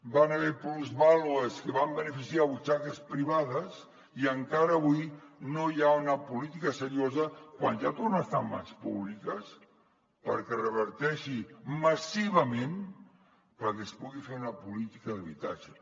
hi van haver plusvàlues que van beneficiar butxaques privades i encara avui no hi ha una política seriosa quan ja torna a estar en mans públiques perquè es reverteixi massivament perquè es pugui fer una política d’habitatge